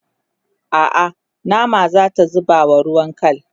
a'a nama zata zubawa ruwan kal